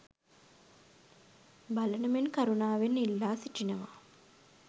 බලන මෙන් කරුණාවෙන් ඉල්ලා සිටිනවා